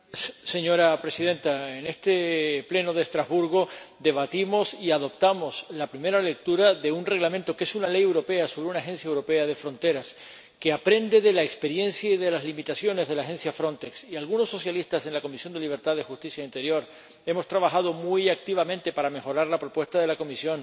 Señora Presidenta, en este Pleno de Estrasburgo debatimos y adoptamos la primera lectura de un Reglamento que es una ley europea sobre una agencia europea de fronteras, que aprende de la experiencia y de las limitaciones de la Agencia Frontex. Y algunos socialistas en la Comisión de Libertades, Justicia y Asuntos de Interior hemos trabajado muy activamente para mejorar la propuesta de la Comisión